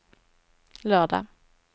lördag